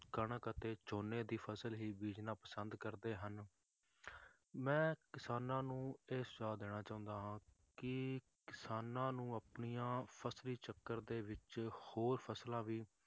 ਕਣਕ ਅਤੇ ਝੋਨੇ ਦੀ ਫਸਲ ਹੀ ਬੀਜਣਾ ਪਸੰਦ ਕਰਦੇ ਹਨ ਮੈਂ ਕਿਸਾਨਾਂ ਨੂੰ ਇਹ ਸਲਾਹ ਦੇਣਾ ਚਾਹੁੰਦਾ ਹਾਂ ਕਿ ਕਿਸਾਨਾਂ ਨੂੰ ਆਪਣੀਆਂ ਫਸਲੀ ਚੱਕਰ ਦੇ ਵਿੱਚ ਹੋਰ ਫਸਲਾਂ ਵੀ